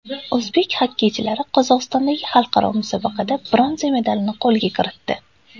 O‘zbek xokkeychilari Qozog‘istondagi xalqaro musobaqada bronza medalni qo‘lga kiritdi.